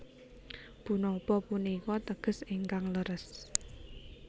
Punapa punika teges ingkang leres